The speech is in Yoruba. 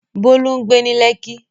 Bolu ń gbé ní Lekki.